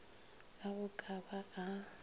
a go ka ba a